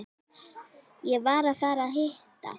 Ég var að fara að hitta